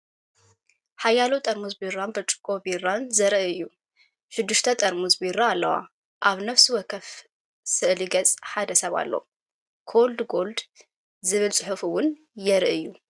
ሓያሎ ጥርሙዝ ቢራን ብርጭቆ ቢራን ዘርኢ እዩ። ሽዱሽተ ጥርሙዝ ቢራ ኣለዋ። ኣብ ነፍሲ ወከፎም ስእሊ ገጽ ሓደ ሰብ ኣሎ። "COLD GOLD" ዝብል ጽሑፍ እውን ይርአ እዩ።...